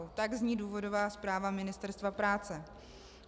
Tak zní důvodová zpráva Ministerstva práce.